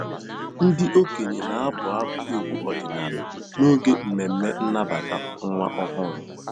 Ndị okenye na-abụ abụ egwu ọdịnala n'oge mmemme nnabata nwa ọhụrụ.